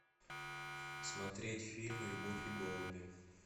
смотреть фильм любовь и голуби